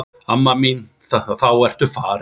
Amma mín þá ertu farin.